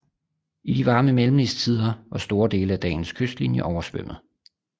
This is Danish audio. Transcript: I de varme mellemistider var store dele af dagens kystlinje oversvømmet